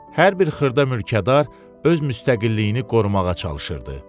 Hər bir xırda mülkədar öz müstəqilliyini qorumağa çalışırdı.